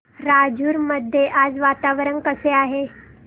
राजूर मध्ये आज वातावरण कसे आहे